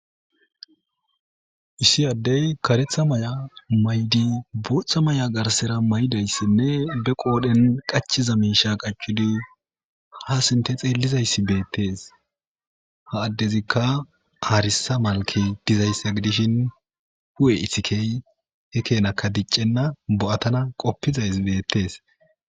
Issi addey kareththa maya mayidi boththa mayo garsera mayidaysa be qodhen qachiza miishsha qachchidii ha sinththe xellizayssi beettes ha addezikka aressa malkey dizayssa gidishin huphphe iixikey hega kenakka diccena bo'attana qoppizaysi beettes